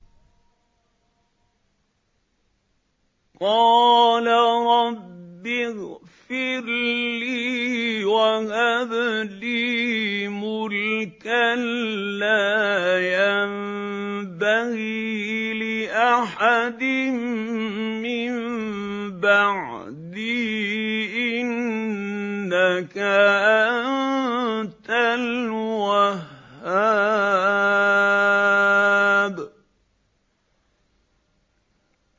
قَالَ رَبِّ اغْفِرْ لِي وَهَبْ لِي مُلْكًا لَّا يَنبَغِي لِأَحَدٍ مِّن بَعْدِي ۖ إِنَّكَ أَنتَ الْوَهَّابُ